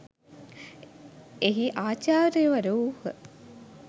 එහි ආචාර්යවරු වූහ.